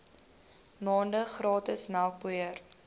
maande gratis melkpoeier